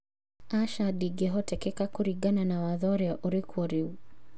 Acha ndĩngĩhotekeka kũringana na watho ũrĩa ũrĩkuo rĩu